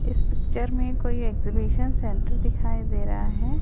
इस पिक्चर में कोई एग्जिबिशन सेंटर दिखाई दे रहा है।